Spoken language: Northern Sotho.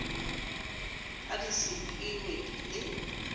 a di se kwewe le